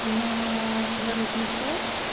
на воротничок